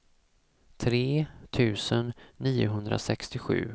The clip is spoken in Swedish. tre tusen niohundrasextiosju